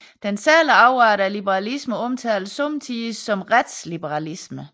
Den særlige afart af liberalismen omtales somme tider som retsliberalisme